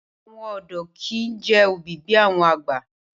Awon odo ki i je obi bi awon agba.